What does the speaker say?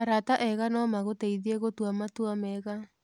Arata ega no magũteithie gũtua matua mega.